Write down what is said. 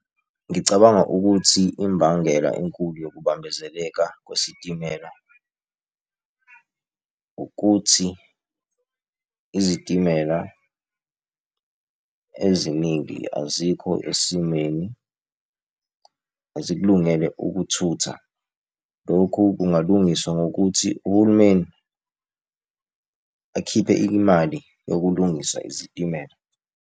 Ngicabanga ukuthi imbangela enkulu yokubambezeleka kwesitimela ukuthi izitimela eziningi azikho esimweni, azikulungele ukuthutha. Lokhu kungalungiswa ngokuthi uhulumeni akhiphe imali yokulungisa izitimela.